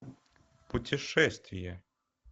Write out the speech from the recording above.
путешествие